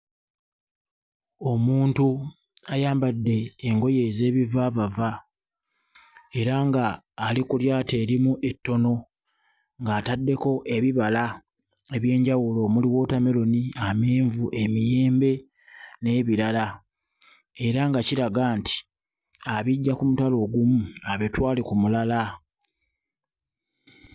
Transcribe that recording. Omuntu ayambadde engoye ez'ebivaavava era nga ali ku lyato erimu ettono ng'ataddeko ebibala eby'enjawulo omuli wootammeroni, amenvu, emiyembe n'ebirala era nga kiraga nti abiggya ku mutala ogumu abitwale ku mulala.